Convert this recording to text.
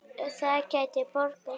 Það gæti borgað sig.